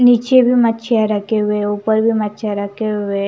नीचे भी मच्छियां रखे हुए हैं ऊपर भी मच्छियां रखे हुए हैं।